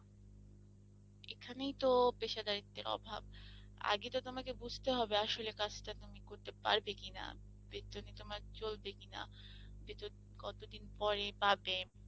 এখানেই তো পেশার দায়িত্বের অভাব আগে তো তোমাকে বুঝতে হবে আসলে কাজটা তুমি করতে পারবে কিনা, বেতনে তোমার চলবে কিনা, কতদিন পরে পাবে